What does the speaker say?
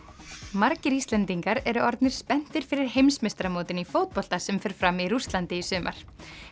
margir Íslendingar eru orðnir spenntir fyrir heimsmeistaramótinu í fótbolta sem fer fram í Rússlandi í sumar